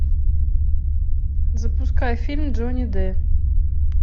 запускай фильм джонни д